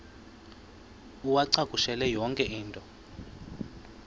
uwacakushele yonke into